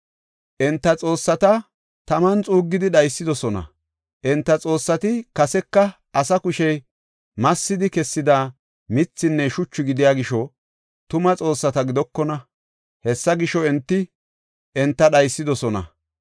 Enta xoossata taman xuuggidi dhaysidosona; enta xoossati kaseka asaa kushey massidi kessida mithinne shuchu gidiya gisho, tuma xoossata gidokona; hessa gisho, enti enta dhaysidosona.